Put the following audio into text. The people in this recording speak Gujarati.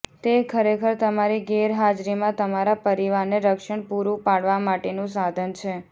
તે ખરેખર તમારી ગેરહાજરીમાં તમારા પરિવારને રક્ષણ પૂરું પાડવા માટેનું સાધન છે